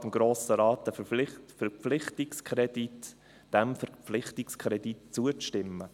Die SiK beantragt dem Grossen Rat, diesem Verpflichtungskredit zuzustimmen.